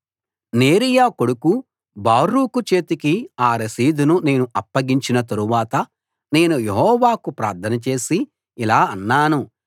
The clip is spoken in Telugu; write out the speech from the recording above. నేరీయా కొడుకు బారూకు చేతికి ఆ రసీదును నేను అప్పగించిన తరువాత నేను యెహోవాకు ప్రార్థన చేసి ఇలా అన్నాను